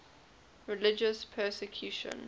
religious persecution